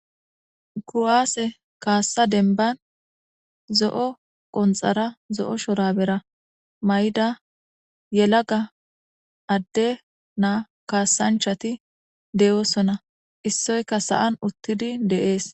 kuwaase kaassa denban zo7o qonxara zo7o shorabera may7da yelaga adde naa kaassanchati deyoosona issoyka sa7an uttidi deees.